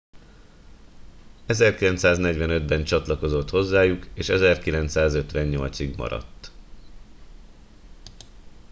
1945 ben csatlakozott hozzájuk és 1958 ig maradt